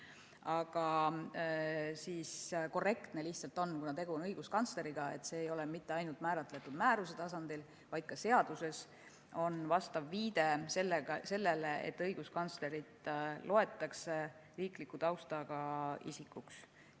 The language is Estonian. Aga korrektne lihtsalt on, kuna tegu on õiguskantsleriga, et see ei ole määratletud mitte ainult määruse tasandil, vaid ka seaduses on vastav viide sellele, et õiguskantslerit loetakse riikliku taustaga isikuks.